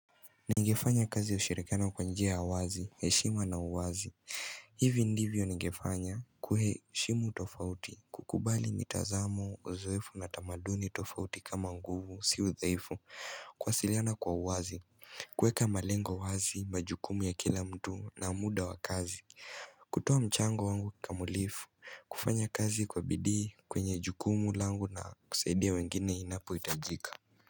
Ningefanya kazi ya ushirikana kwa njia ya wazi, heshima na uwazi, hivi ndivyo ningefanya kuheshimu tofauti kukubali mitazamo, uzoefu na tamaduni tofauti kama nguvu, si udhaifu, kuwasiliana kwa uwazi kuweka malengo wazi, majukumu ya kila mtu na muda wa kazi kutoa mchango wangu kamulifu, kufanya kazi kwa bidii kwenye jukumu langu na kusaidia wengine inapoitajika.